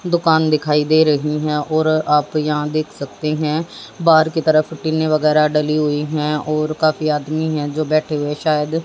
दुकान दिखाई दे रही है और आप यहां देख सकते हैं बाहर की तरफ टीने वगैरा डली हुई है और काफी आदमी है जो बैठे हुए शायद--